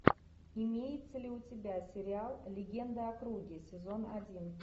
имеется ли у тебя сериал легенда о круге сезон один